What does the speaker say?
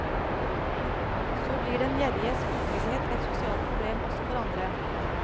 Så blir den gjerriges utrygghet et sosialt problem også for andre.